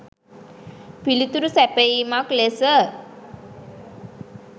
පිළිතුරු සැපයීමක් ලෙස